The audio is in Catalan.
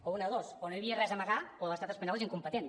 o una de dos o no hi havia res a amagar o l’estat espanyol és incompetent